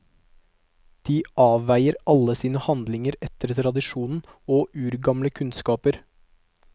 De avveier alle sine handlinger etter tradisjon og urgamle kunnskaper.